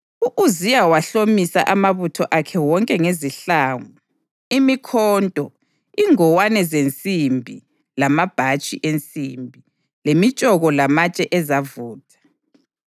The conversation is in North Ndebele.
U-Uziya wahlomisa amabutho akhe wonke ngezihlangu, imikhonto, ingowane zensimbi lamabhatshi ensimbi, lemitshoko lamatshe ezavutha.